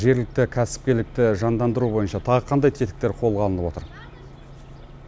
жергілікті кәсіпкерлікті жандандыру бойынша тағы қандай тетіктер қолға алынып отыр